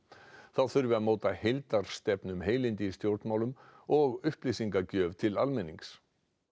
þá þurfi að móta heildarstefnu um heilindi í stjórnmálum og upplýsingagjöf til almennings